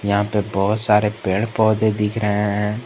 यहां पे बहुत सारे पेड़ पौधे दिख रहे हैं।